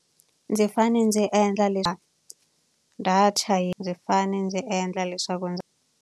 Ndzi fanele ndzi endla data yi ndzi fanele ndzi endla leswaku ndzi.